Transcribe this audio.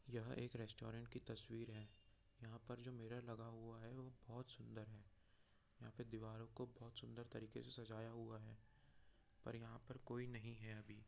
यह एक रेस्टोरेंट की तस्वीर है यहाँ पर जो मिरर लगा हुआ है वो बहोत सुंदर है यहाँ पे दीवारों को बहोत सुंदर तरीके से सजाया हुआ है पर यहाँ पर कोई नहीं है अभी।